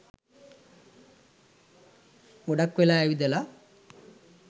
ගොඩක් වෙලා ඇවිදලා